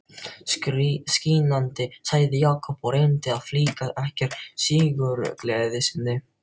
Skínandi sagði Jakob og reyndi að flíka ekki sigurgleði sinni.